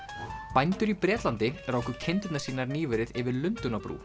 bændur í Bretlandi ráku kindurnar sínar nýverið yfir